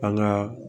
An ka